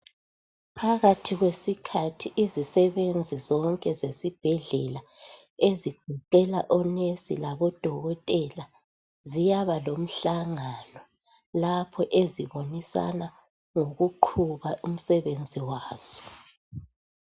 Phakathi kwesikhathi izisebenzi zonke zesibhedlela ezigoqela onurse labodokotela ziyaba lomhlangano lapho ezibonisana khona ngokuqhuba umsebenzi wazo.